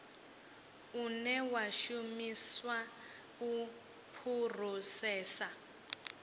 une wa shumiswa u phurosesa